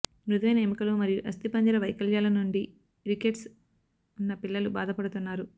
మృదువైన ఎముకలు మరియు అస్థిపంజర వైకల్యాల నుండి రికెట్స్ ఉన్న పిల్లలు బాధపడుతున్నారు